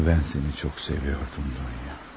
Amma mən səni çox sevirdim Dunya.